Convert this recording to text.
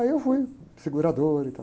Aí eu fui, segurador e tal.